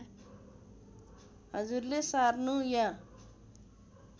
हजुरले सार्नु या